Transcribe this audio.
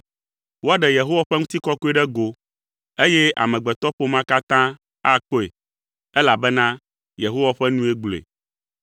Woaɖe Yehowa ƒe ŋutikɔkɔe ɖe go, eye amegbetɔƒomea katã akpɔe, elabena Yehowa ƒe nue gblɔe.”